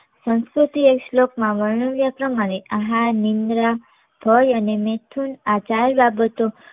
સંસ્કૃતના એક શ્લોકમાં વર્ણવ્યા પ્રમાણે આહાર, નિંદ્રા, ભય અને નેતૃત્વ આ ચાર બાબતો